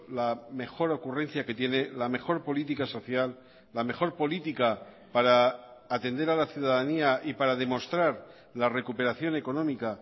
la mejor ocurrencia que tiene la mejor política social la mejor política para atender a la ciudadanía y para demostrar la recuperación económica